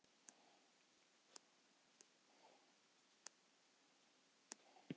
Ingveldur Geirsdóttir: Má borða nammi í skólanum?